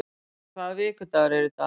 Gustav, hvaða vikudagur er í dag?